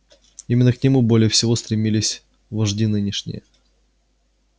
именно к нему более всего стремились вожди нынешние